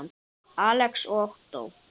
Alex og Ottó.